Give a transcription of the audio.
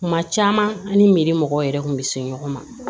Kuma caman an ni me mɔgɔw yɛrɛ kun bɛ se ɲɔgɔn ma